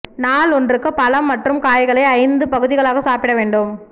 நாள் ஒன்றுக்கு பழம் மற்றும் காய்களை ஐந்து பகுதிகளாக சாப்பிட வேண்டும்